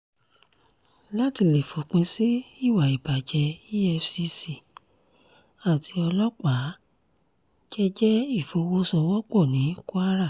láti lè fòpin sí ìwà ìbàjẹ́ efcc àti ọlọ́pàá jẹ́ẹ́jẹ́ ìfọwọ́sowọ́pọ̀ ní kwara